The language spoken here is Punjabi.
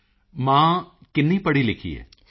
ਮੋਦੀ ਜੀ ਮਾਂ ਕਿੰਨੀ ਪੜ੍ਹੀ ਲਿਖੀ ਹੈ